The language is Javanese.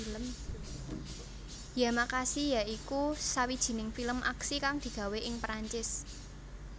Yamakasi ya iku sawijining film aksi kang digawé ing Perancis